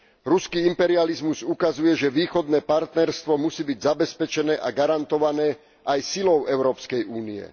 Ruský imperializmus ukazuje, že Východné partnerstvo musí byť zabezpečené a garantované aj silou Európskej únie.